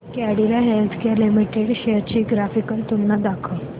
Cadila healthcare limited shares ची graphical तुलना दाखव